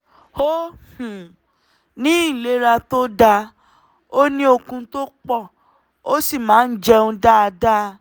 ó um ní ìlera tó dáa ó ní okun tó pọ̀ ó sì máa ń jẹun dáadáa um